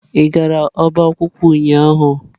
Ị gara ọba akwụkwọ ụnyahụ?